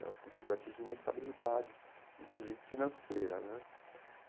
Ela conseguiu atingir uma estabilidade, inclusive financeira, né?